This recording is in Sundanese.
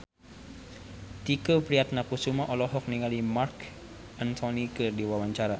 Tike Priatnakusuma olohok ningali Marc Anthony keur diwawancara